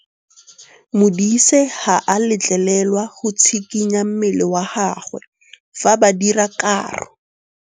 Modise ga a letlelelwa go tshikinya mmele wa gagwe fa ba dira karô.